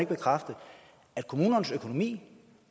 bekræfte at kommunernes økonomi